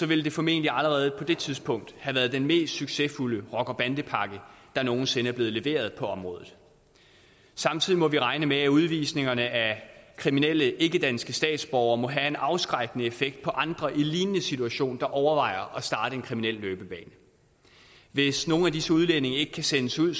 ville det formentlig allerede på det tidspunkt have været den mest succesfulde rocker bande pakke der nogen sinde er blevet leveret på området samtidig må vi regne med at udvisningerne af kriminelle ikkedanske statsborgere må have en afskrækkende effekt på andre i en lignende situation der overvejer at starte en kriminel løbebane hvis nogle af disse udlændinge ikke kan sendes ud